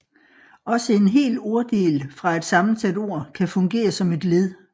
Også en hel orddel fra et sammensat ord kan fungere som et led